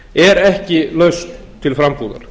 er ekki lausn til frambúðar